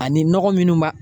Ani nɔgɔ minnu b'a